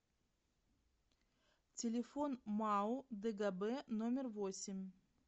телефон мау дгб номер восемь